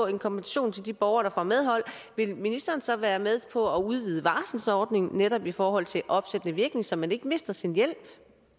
en kompensation til de borgere der får medhold vil ministeren så være med på at udvide varslingsordningen netop i forhold til opsættende virkning så man ikke mister sin hjælp